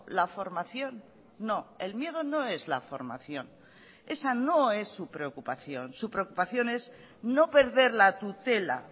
la formación no el miedo no es la formación esa no es su preocupación su preocupación es no perder la tutela